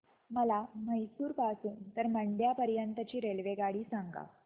मला म्हैसूर पासून तर मंड्या पर्यंत ची रेल्वेगाडी सांगा